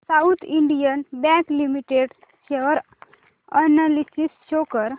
south Indian Bank Limited share analysis show कर